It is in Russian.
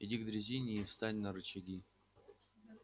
иди к дрезине и встань на рычаги